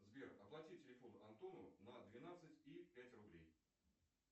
сбер оплати телефон антону на двенадцать и пять рублей